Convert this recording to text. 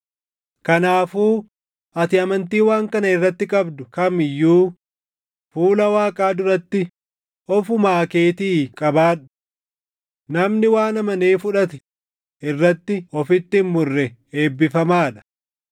Kanaafuu ati amantii waan kana irratti qabdu kam iyyuu fuula Waaqaa duratti ofumaa keetii qabaadhu. Namni waan amanee fudhate irratti ofitti hin murre eebbifamaa dha.